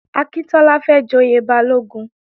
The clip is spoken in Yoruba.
Akíntọ́lá fẹ́ joyè Balógun